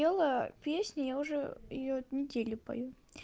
пела песню я уже её неделю пою